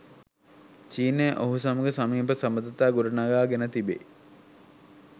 චීනය ඔහු සමග සමීප සබඳතා ගොඩනගාගෙන තිබේ.